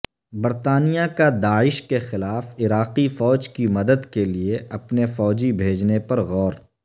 برطانیہ کا داعش کے خلاف عراقی فوج کی مدد کےلئے اپنے فوجی بھیجنے پر غور